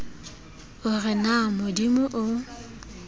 o re na modimo o